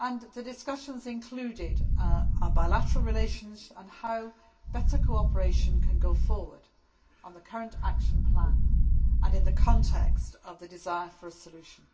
The discussions included our bilateral relations and how better cooperation can go forward on the current action plan and in the context of the desire for a solution.